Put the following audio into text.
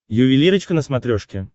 ювелирочка на смотрешке